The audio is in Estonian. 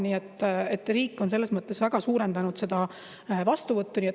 Nii et riik on selles mõttes väga suurendanud seda vastuvõttu.